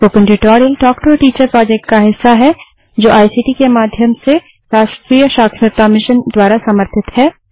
spoken tutorial talk to a teacher project का हिस्सा है जो आईसीटी के माध्यम से राष्ट्रीय साक्षरता मिशन द्वारा समर्थित है